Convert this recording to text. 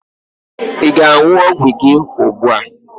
Ị ga aṅụ ọgwụ gị ùgbúà?